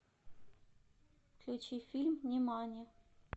включи фильм нимани